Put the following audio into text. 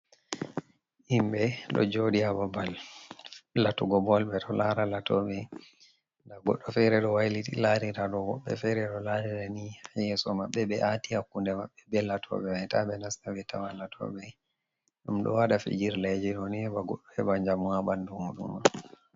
Himɓe, ɗo joɗi hababal latugo bol, ɓeɗo lara latoɓe nda goɗɗo fere ɗo wailiti larira ɗo, woɓɓe fere bo ɗo larira ni, yeso maɓɓe ɓe ati hakkunde maɓɓe be latoɓe, wai taɓe nasta ɓetawa latoɓe mai, ɗum ɗo waɗa fijirleji ɗoni heɓa goɗɗo heba njamu ha ɓandu muɗuma.